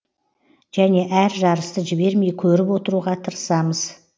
және әр жарысты жібермей көріп отыруға тырысамыз